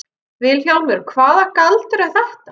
VILHJÁLMUR: Hvaða galdur er þetta?